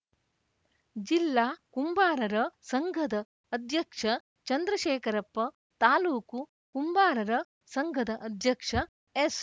ಜಿಲ್ಲಾ ಕುಂಬಾರರ ಸಂಘದ ಅಧ್ಯಕ್ಷ ಚಂದ್ರಶೇಖರಪ್ಪ ತಾಲೂಕು ಕುಂಬಾರರ ಸಂಘದ ಅಧ್ಯಕ್ಷ ಎಸ್‌